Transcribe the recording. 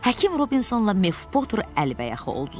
Həkim Robinsonla Mef Potur əlbəyaxa oldular.